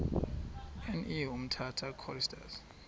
ne umtata choristers